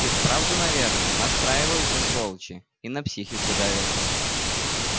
и вправду наверное настраиваются сволочи и на психику давят